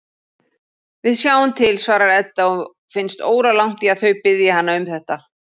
Við sjáum til, svarar Edda og finnst óralangt í að þau biðji hana um þetta.